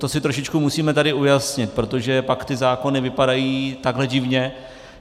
To si trošičku musíme tady ujasnit, protože pak ty zákony vypadají takhle divně.